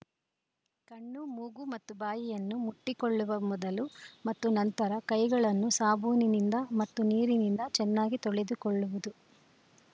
ಕಣ್ಣು ಮೂಗು ಮತ್ತು ಬಾಯಿಯನ್ನು ಮುಟ್ಟಿಕೊಳ್ಳುವ ಮೊದಲು ಮತ್ತು ನಂತರ ಕೈಗಳನ್ನು ಸಾಬೂನಿನಿಂದ ಮತ್ತು ನೀರಿನಿಂದ ಚೆನ್ನಾಗಿ ತೊಳೆದುಕೊಳ್ಳುವುದು